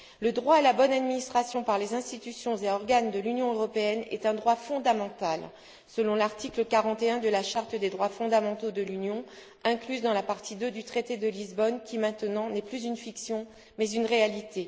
Le droit à la bonne administration par les institutions et organes de l'Union européenne est un droit fondamental selon l'article 41 de la charte des droits fondamentaux de l'Union incluse dans la partie II du traité de Lisbonne, qui maintenant n'est plus une fiction mais une réalité.